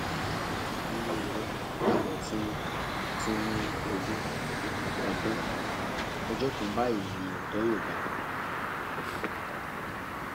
bí irọ bá lọ fún fún ogún ọdún ọjọ kan báyìí ni òótọ yóò bá a